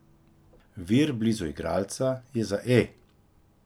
Vir blizu igralca je za E!